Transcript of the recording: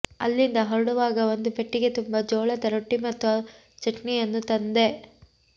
ಅಲ್ಲಿಂದ ಹೊರಡುವಾಗ ಒಂದು ಪೆಟ್ಟಿಗೆ ತುಂಬಾ ಜೋಳದ ರೊಟ್ಟಿ ಮತ್ತು ಚಟ್ನಿಯನ್ನು ತಂದೆ